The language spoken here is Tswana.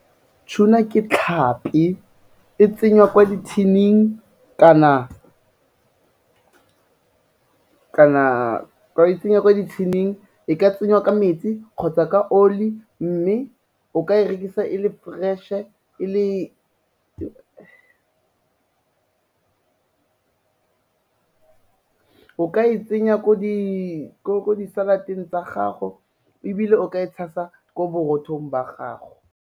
Tuna ke tlhapi, e tsengwa kwa di-tin-ing kana, e tsengwa kwa di-tin-ing e ka tsengwa ka metsi kgotsa ka oli, mme o ka e rekisa e le fresh-e, e le, o ka e tsenya ko di-salad-eng tsa gago ebile o ka e tshasa ko borothong ba gago.